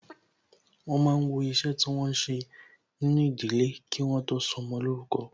Wọn máa ń wọ iṣẹ́ tí wọn ń ṣe nínú ìdílé, kí wọ́n tó sọmọ lórúkọ